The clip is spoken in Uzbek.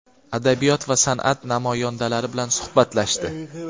adabiyot va sanʼat namoyandalari bilan suhbatlashdi.